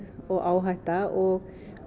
og áhætta og